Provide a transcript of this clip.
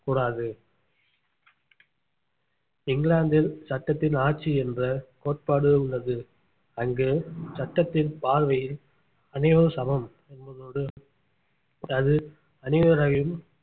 கூடாது இங்கிலாந்தில் சட்டத்தின் ஆட்சி என்ற கோட்பாடு உள்ளது அங்கு சட்டத்தின் பார்வையில் அனைவரும் சமம் என்பதோடு அது அனைவரையும்